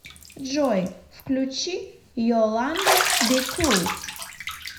джой включи йоланда би кул